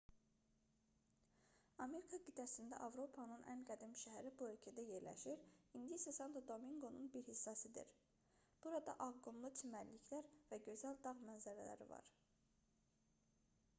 amerika qitəsində avropanın ən qədim şəhəri bu ölkədə yerləşir indi isə santo-dominqonun bir hissəsidir burada ağ qumlu çimərliklər və gözəl dağ mənzərələri var